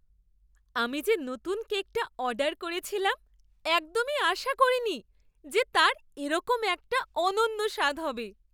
আমি যে নতুন কেকটা অর্ডার করেছিলাম, একদমই আশা করিনি যে তার এরকম একটা অনন্য স্বাদ হবে!